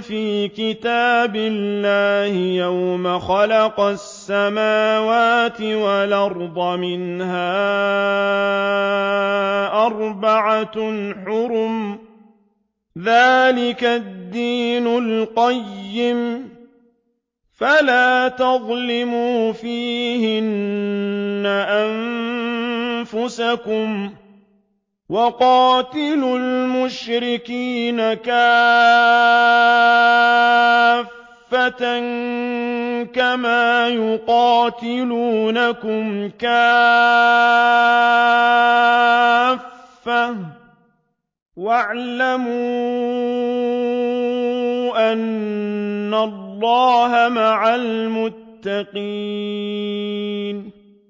فِي كِتَابِ اللَّهِ يَوْمَ خَلَقَ السَّمَاوَاتِ وَالْأَرْضَ مِنْهَا أَرْبَعَةٌ حُرُمٌ ۚ ذَٰلِكَ الدِّينُ الْقَيِّمُ ۚ فَلَا تَظْلِمُوا فِيهِنَّ أَنفُسَكُمْ ۚ وَقَاتِلُوا الْمُشْرِكِينَ كَافَّةً كَمَا يُقَاتِلُونَكُمْ كَافَّةً ۚ وَاعْلَمُوا أَنَّ اللَّهَ مَعَ الْمُتَّقِينَ